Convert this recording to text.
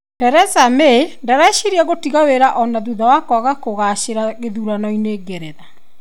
Theresa May ndareciria gũtiga wĩra ona thutha wa kwaga kũgacĩra gĩthurano-inĩ Ngeretha.